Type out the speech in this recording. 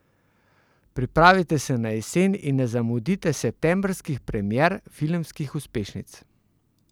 Pripravite se na jesen in ne zamudite septembrskih premier filmskih uspešnic!